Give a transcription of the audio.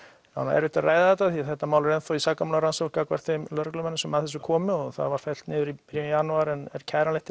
erfitt að ræða þetta því þetta mál er enn þá í sakamálarannsókn gagnvart þeim lögreglumönnum sem að þessu komu og það var fellt niður í byrjun janúar en er kæranlegt